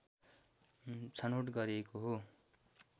छनौट गरिएको हो